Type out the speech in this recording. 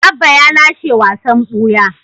Abba ya lashe wasan buya.